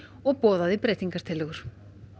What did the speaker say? og boðaði breytingartillögur